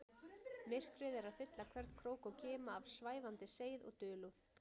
Myrkrið er að fylla hvern krók og kima af svæfandi seið og dulúð.